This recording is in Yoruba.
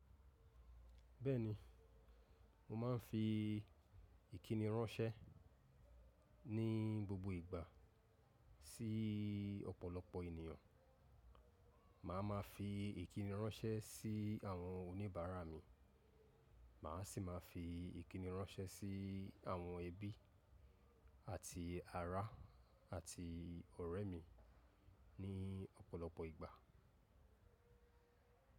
Bẹ́ẹ̀ni, mo máa ń fi ìkíni ránṣẹ́ ní gbogbo ìgbà sí ọ̀pọ̀lọpọ̀ ènìyàn. Màá ma fi ìkíni ránṣẹ́ sí àwọn oníbàárà mi, màá sì máa fi ìkíni ránṣẹ́ sí àwọn ẹbí àti ará àti ọ̀rẹ́ mi ní ọ̀pọ̀lọpọ̀ ìgbà.